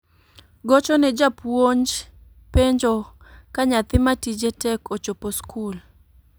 Gocho ne japuonj penjo ka nyathi matije tek ochopo skul